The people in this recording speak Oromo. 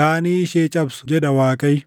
gaanii ishee cabsu” jedha Waaqayyo.